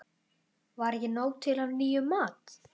Var ekki nóg til af nýjum mat?